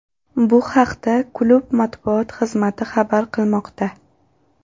Bu haqda klub matbuot xizmati xabar qilmoqda .